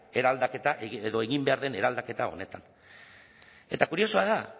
eraldaketa edo egin behar den eraldaketa honetan eta kuriosoa da